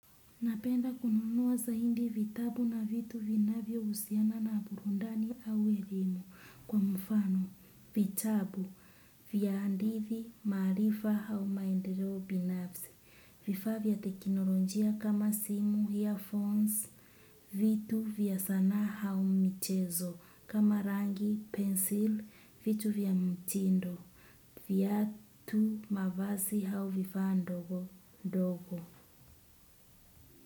Napenda kununua zaidi vitabu na vitu vinavyohusiana na burundani au elimu kwa mfano, vitabu, vya hadithi, maarifa au maendeleo binafsi, vifaa vya teknolonjia kama simu, "earphones", vitu vya sanaa au mchezo, kama rangi, "pencil", vitu vya mtindo, viatu, mavazi au vifaa ndogo ndogo.